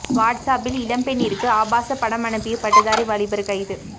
watts அப்பில் இளம்பெண்ணிற்கு ஆபாச படம் அனுப்பிய பட்டதாரி வாலிபர் கைது